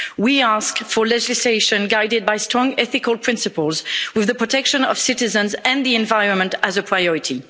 We ask for legislation guided by strong ethical principles with the protection of citizens and the environment as a priority.